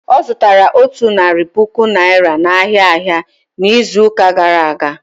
Ọ zụtaraotu narị puku Naịra n'ahịa ahịa n'izuụka gara aga.